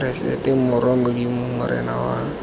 keresete morwa modimo morena wa